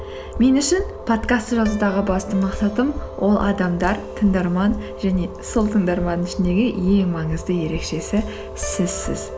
мен үшін подкастты жазудағы басты мақсатым ол адамдар тыңдарман және сол тыңдарманның ішіндегі ең маңызды ерекшесі сізсіз